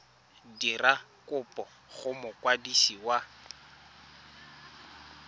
dira kopo go mokwadisi wa